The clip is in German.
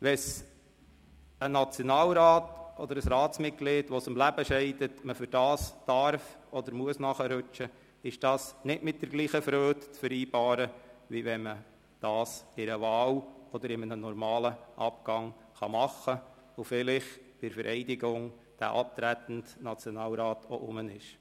Wenn man für einen Nationalrat oder für ein Ratsmitglied, das aus dem Leben scheidet, nachrücken darf oder muss, tut man dies nicht mit der gleichen Freude wie bei einer Wahl oder bei einem normalen Abgang, oder vielleicht wenn bei der Vereidigung der abtretende Nationalrat auch mit dabei ist.